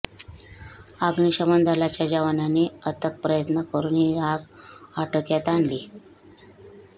अग्निशमन दलाच्या जवानांनी अथक पयत्न करुन ही आग आटोक्यात आणली